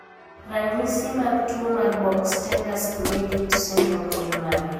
Ranyisi mag tuwo mar Bork Stender Schmidt syndrome gin mage?